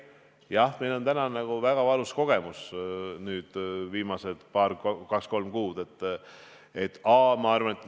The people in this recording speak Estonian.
Jah, meil on nüüd väga valus kogemus viimasest 2–3 kuust.